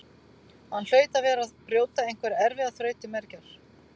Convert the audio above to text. Hann hlaut að vera að brjóta einhverja erfiða þraut til mergjar.